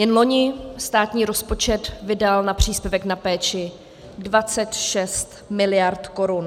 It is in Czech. Jen loni státní rozpočet vydal na příspěvek na péči 26 mld. korun.